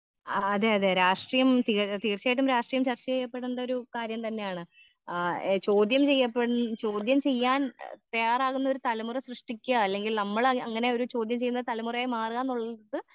ആ അതെയതെ രാഷ്ട്രീയം തീ തീർച്ചായിട്ടും രാഷ്ട്രീയം ചർച്ച ചെയ്യപ്പെടെണ്ടൊരു കാര്യം തന്നെയാണ് ആ ഏ ചോദ്യം ചെയ്യപ്പെട് ചോദ്യം ചെയ്യാൻ ഏ തയ്യാറാകുന്നൊരു തലമുറ സൃഷ്ടിക്ക അല്ലെങ്കിൽ നമ്മള് അങ്ങനെയൊരു ചോദ്യം ചെയ്യുന്ന തലമുറയായി മാറാന്നുള്ളത്.